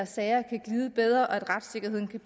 sagerne kan glide bedre og at retssikkerheden kan